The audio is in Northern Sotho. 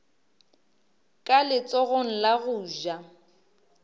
ka letsogong la go ja